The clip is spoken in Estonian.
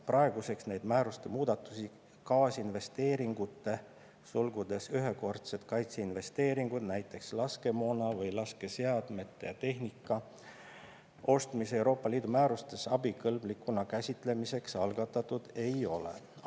Praeguseks neid määruste muudatusi kaitseinvesteeringute ostmise EL määrustes abikõlblikuna käsitlemiseks algatatud ei ole.